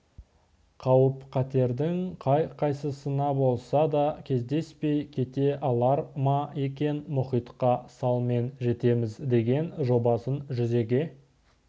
қауіп-қатердің қай-қайсысына болса да кездеспей кете алар ма екен мұхитқа салмен жетеміз деген жобасын жүзеге